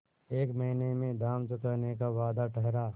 एक महीने में दाम चुकाने का वादा ठहरा